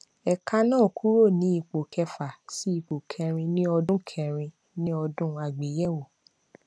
ẹka náà kúrò ní ipò kẹfà sí ipò kẹrin ní ọdún kẹrin ní ọdún àgbéyèwò